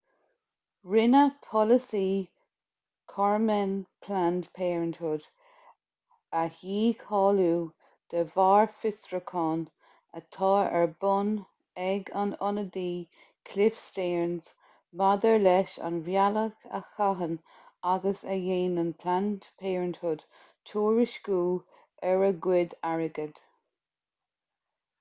rinne polasaí kormen planned parenthood a dhícháiliú de bharr fiosrúcháin atá ar bun ag an ionadaí cliff stearns maidir leis ar an bhealach a chaitheann agus a dhéanann planned parenthood tuairisciú ar a gcuid airgead